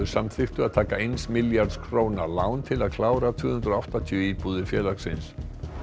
samþykktu að taka eins milljarðs króna lán til að klára tvö hundruð og áttatíu íbúðir félagsins